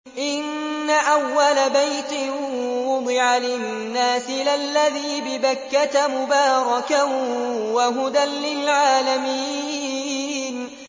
إِنَّ أَوَّلَ بَيْتٍ وُضِعَ لِلنَّاسِ لَلَّذِي بِبَكَّةَ مُبَارَكًا وَهُدًى لِّلْعَالَمِينَ